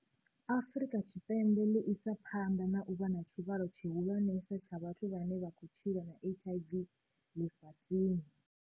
Afrika Tshipembe ḽi isa phanḓa na u vha na tshivhalo tshihulwanesa tsha vhathu vhane vha khou tshila na HIV ḽifhasini.